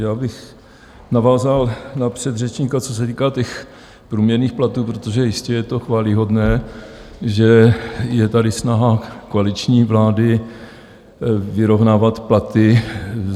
Já bych navázal na předřečníka, co se týká těch průměrných platů, protože jistě je to chvályhodné, že je tady snaha koaliční vlády vyrovnávat platy.